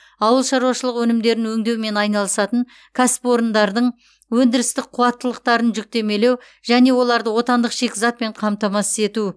ауыл шаруашылығы өнімдерін өңдеумен айналысатын кәсіпорындардың өндірістік қуаттылықтарын жүктемелеу және оларды отандық шикізатпен қамтамасыз ету